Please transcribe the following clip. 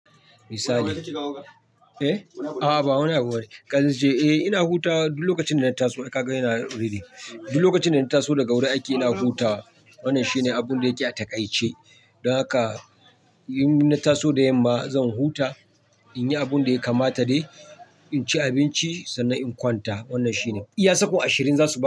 Misali. Eh? A'a ba wani abu bane. Kan zance, eh ina huta duk lokacin da na taso. Kaga yana riri. Duk lokacin da na taso daga wurin aiki ina huta. Wannan shine abun da yake a taƙaice. Don haka in na taso da yamma zan huta, in yi abun da ya kamata dai, in ci abinci sannan in kwanta. Wannan shine. Iya sakon ashirin za su ma.